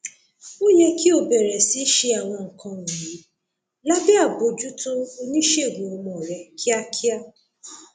ó yẹ kí o bẹrẹ sí ṣe àwọn nǹkan wọnyí lábẹ àbójútó oníṣègùn ọmọ rẹ kíákíá